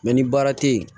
ni baara tɛ yen